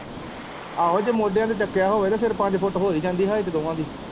ਆਹੋ ਜੇ ਮੋਢਿਆਂ ਤੇ ਚੱਕਿਆ ਹੋਵੇ ਫੇਰ ਪੰਜ ਫੁੱਟ ਹੋ ਹੀ ਜਾਂਦੀ ਦੋਵਾਂ ਦੀ।